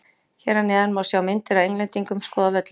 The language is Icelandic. Hér eð neðan má sjá myndir af Englendingum skoða völlinn.